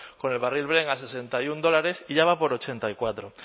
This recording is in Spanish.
con el barril brent a sesenta y uno dólares y ya va por ochenta y cuatro